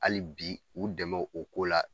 Hali bi u dɛmɛ o ko la